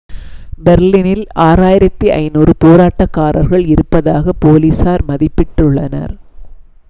பெர்லினில் 6500 போராட்டகாரர்கள் இருப்பதாக போலீசார் மதிப்பிட்டு உள்ளனர்